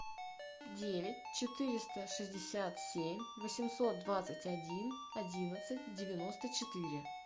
девять четыреста шестьдесят семь восемьсот двадцать один одиннадцать девяносто четыре